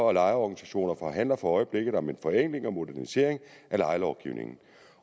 og lejerorganisationer forhandler for øjeblikket om en forenkling og modernisering af lejelovgivningen